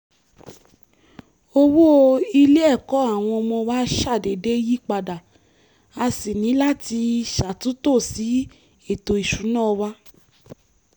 owó ilé-ẹ̀kọ́ àwọn ọmọ wa ṣàdédé yí padà a sì ní láti ṣàtútò sí ètò ìṣúná wa